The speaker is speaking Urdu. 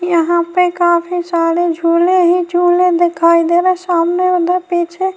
یہاں پر کافی سارے جھولی جھولے ہے۔ دکھائی دے رہے ہیں سامنے ادھر پیچھے--